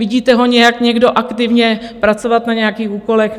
Vidíte ho někdo nějak aktivně pracovat na nějakých úkolech?